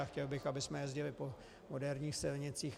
A chtěl bych, abychom jezdili po moderních silnicích.